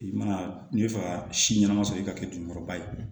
I mana n'i bɛ fɛ ka si ɲɛnama sɔrɔ i ka kɛ juguman ba ye